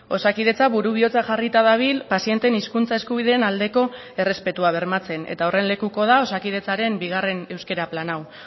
osakidetza buru bihotza jarrita dabil pazienteen hizkuntza eskubideen aldeko errespetua bermatzen eta horren lekuko da osakidetzaren bigarren euskara plan hau